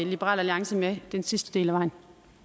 liberal alliance med den sidste del af vejen